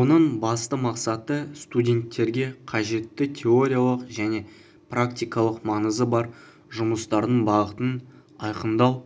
оның басты мақсаты студенттерге қажетті теориялық және практикалық маңызы бар жұмыстардың бағытын айқындау